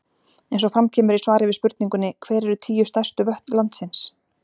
Eins og fram kemur í svari við spurningunni Hver eru tíu stærstu vötn landsins?